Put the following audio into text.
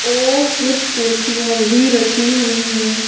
और कुछ कुर्सियां भी रखी हुईं हैं।